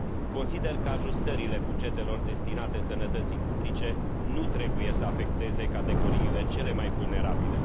Consider că ajustările bugetelor destinate sănătății publice nu trebuie să afecteze categoriile cele mai vulnerabile.